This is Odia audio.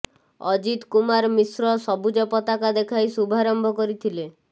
ଅଜିତ କୁମାର ମିଶ୍ର ସବୁଜ ପତାକା ଦେଖାଇ ଶୁଭାରମ୍ଭ କରିଥିଲେ